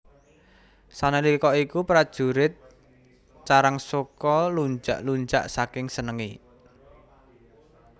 Sanalika iku prajurit Carangsoka lunjak lunjak saking senenge